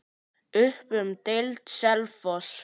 Upp um deild:, Selfoss